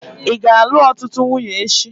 Ị ga-alụ ọtụtụ nwunye echi?